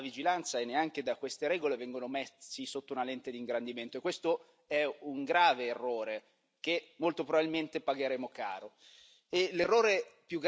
E questi titoli dalla vigilanza e neanche da queste regole vengono messi sotto una lente d'ingrandimento, e questo è un grave errore che molto probabilmente pagheremo caro.